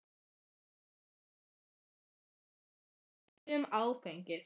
Heilinn er mjög viðkvæmur fyrir áhrifum áfengis.